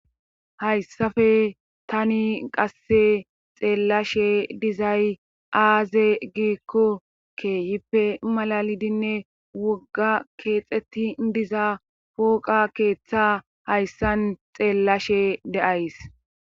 hayssafe tani qasse xeellashe dizay aaze giikkokke hippe malalidinne wogga keexetti diza pooqa keeththa hayssan xeellashe deays